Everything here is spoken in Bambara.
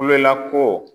Kulonkɛ ko